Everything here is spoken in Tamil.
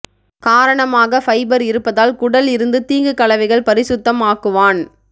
காரணமாக ஃபைபர் இருப்பதால் குடல் இருந்து தீங்கு கலவைகள் பரிசுத்தம் ஆக்குவான்